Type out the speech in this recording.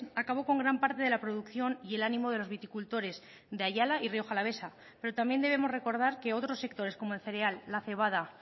acabó con gran parte de la producción y el ánimo de los viticultores de ayala y rioja alavesa pero también debemos recordar que otros sectores como el cereal la cebada